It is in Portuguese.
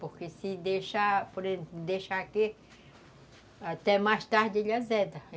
Porque se deixar aqui, até mais tarde ele azeda.